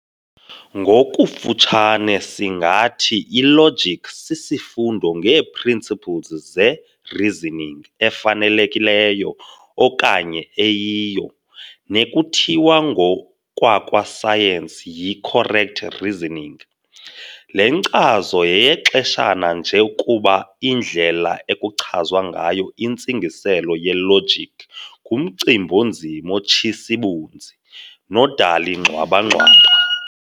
Ngokufutshane singathi i-logic sisifundo ngeeprinciples ze-"reasoning" efanelekileyo okanye eyiyo, nekuthiwa ngokwakwa science yi-"correct reasoning". Le nkcazo yeyexeshana nje kuba indlela ekuchazwa ngayo intsingiselo ye-logic ngumcimb'onzima otshis'ibunzi nodala ingxwaba-ngxwaba.